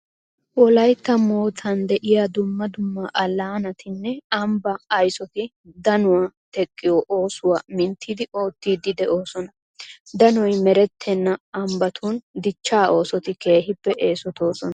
Wolaytta moottan de'iya dumma dumma allaanatinne ambbaa aysoti danuwa teqqiyo oosuwa minttidi oottiiddi de'oosona. Danoy merettena ambbatun dichchaa oosoti keehippe eesotoosona.